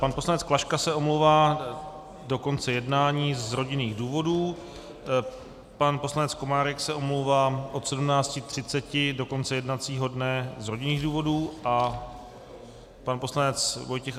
Pan poslance Klaška se omlouvá do konce jednání z rodinných důvodů, pan poslanec Komárek se omlouvá od 17.30 do konce jednacího dne z rodinných důvodů a pan poslanec Vojtěch